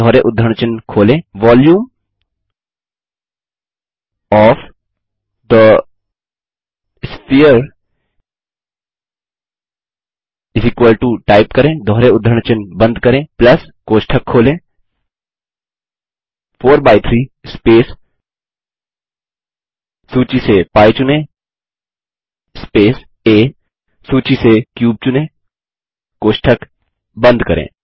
दोहरे उद्धरण चिन्ह खोलें volume of the sphere type करें दोहरे उद्धरण चिन्ह बंद करें प्लस कोष्ठक खोलें 43 स्पेस सूची से π चुनें स्पेस आ सूची से क्यूब चुनें कोष्ठक बंद करें